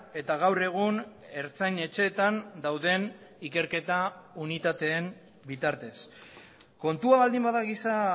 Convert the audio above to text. eta gaur egun ertzain etxeetan dauden ikerketa unitateen bitartez kontua baldin bada giza